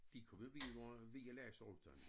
De kommet videre ved at læse om dem